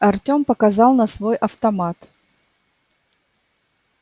артем показал на свой автомат